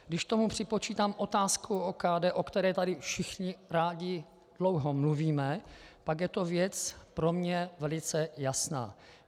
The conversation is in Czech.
Když k tomu připočítám otázku OKD, o které tady všichni rádi dlouho mluvíme, pak je to věc pro mě velice jasná.